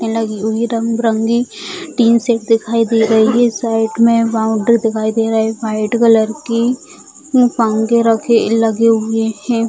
लगी हुई रंग बिरंगी टीन शेड दिखाई दे रही है | साइड में बाउंड्री दिखाई दे रहे व्हाइट कलर की पंखे रखे लगे हुए हैं ।